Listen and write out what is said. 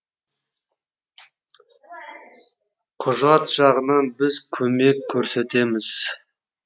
құжат жағынан біз көмек көрсетеміз